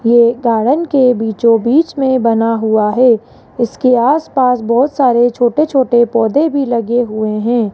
ये गार्डन के बीचो बीच में बना हुआ है इसके आस पास बहुत सारे छोटे छोटे पौधे भी लगे हुए हैं।